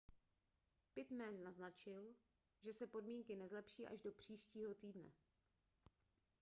pittman naznačil že se podmínky nezlepší až do příštího týdne